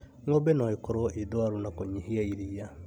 Ng'ombe no ĩkorwo ĩndwaru na kũnyihia iria